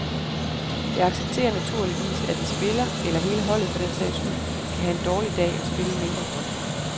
Jeg accepterer naturligvis, at en spiller, eller hele holdet for den sags skyld, kan have en dårlig dag og spille mindre godt.